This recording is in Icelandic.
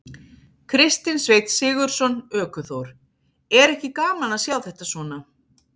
Kristinn Sveinn Sigurðsson, ökuþór: Er ekki gaman að sjá þetta svona?